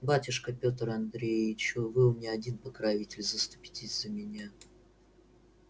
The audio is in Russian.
батюшка петр андреич вы у меня один покровитель заступитесь за меня